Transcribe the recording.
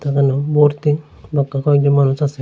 এখানেও বর্তি কয়েকজন মানুষ আসে।